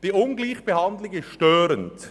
Diese Ungleichbehandlung ist störend.